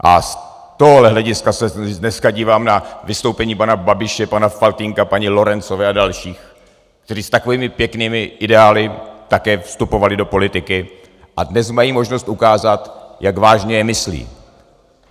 A z tohohle hlediska se dneska dívám na vystoupení paní Babiše, pana Faltýnka, paní Lorencové a dalších, kteří s takovými pěknými ideály také vstupovali do politiky a dnes mají možnost ukázat, jak vážně je myslí.